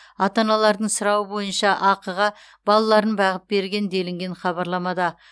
ата аналардың сұрауы бойынша ақыға балаларын бағып берген делінген хабарламада